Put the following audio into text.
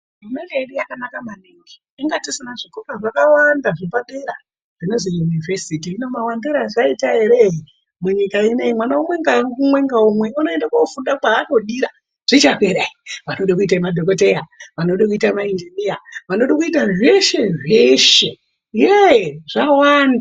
Hurumende yedu yakanaka maningi inga tisina zvikora zvakawanda zvepadera hino mawandire azvaita ere munyika ino iyi mwana umwe ngaumwe unoende kofunda Kwaanodira ,zvichapera ere vanode kuite madhokodheya, vanode kuite vapishiri vesimbi vepamusoro -soro, vanode kuita zveshe zveshe yeeh! zvawanda.